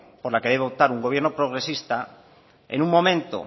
por la que debe optar un gobierno progresista en un momento